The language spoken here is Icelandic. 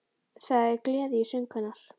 Það er gleði í söng hennar